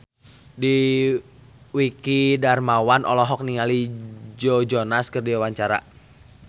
Dwiki Darmawan olohok ningali Joe Jonas keur diwawancara